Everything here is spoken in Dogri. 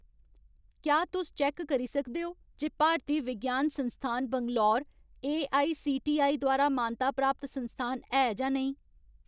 क्या तुस चैक्क करी सकदे ओ जे भारतीय विज्ञान संस्थान बैंगलोर एआईसीटीई द्वारा मानता प्राप्त संस्थान है जां नेईं ?